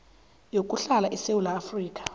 yokuhlala esewula afrika